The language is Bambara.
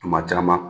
Tuma caman